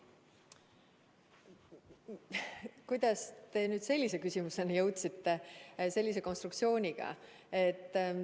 Kuidas te nüüd sellise küsimuseni jõudsite – sellise konstruktsiooniga?